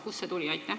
Kust see tuli?